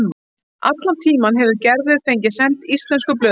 Allan tímann hefur Gerður fengið send íslensku blöðin.